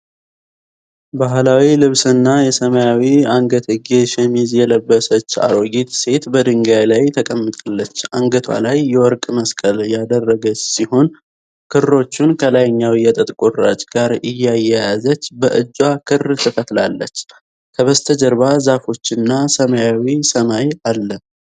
ባሕላዊ ልብስና የሰማያዊ አንገትጌ ሸሚዝ የለበሰች አሮጊት ሴት በድንጋይ ላይ ተቀምጣለች። አንገቷ ላይ የወርቅ መስቀል ያደረገች ሲሆን፣ ክሮቹን ከላይኛው የጥጥ ቁራጭ ጋር እያያዘች በእጅዋ ክር ትፈትላለች። ከበስተጀርባ ዛፎችና ሰማያዊ ሰማይ አለ።